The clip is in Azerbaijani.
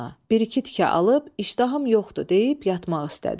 Bir-iki tikə alıb, işdahım yoxdur deyib yatmaq istədi.